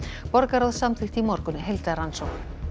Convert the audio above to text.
borgarráð samþykkti í morgun heildarrannsókn